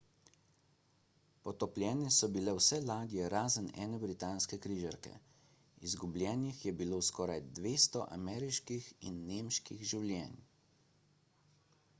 potopljene so bile vse ladje razen ene britanske križarke izgubljenih je bilo skoraj 200 ameriških in nemških življenj